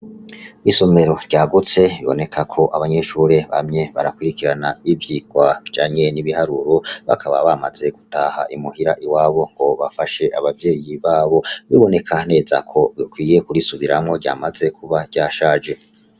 Isomero ryagutse ribonekako abanyeshure bamye barakurikirana ivyigwa bijanye nibiharuro bakaba bamaze gutaha I muhira iwabo hobafashe abavyeyi babo biboneka neza ko rikwiriye gusubirirwamwo ryamaze kuba ryashaje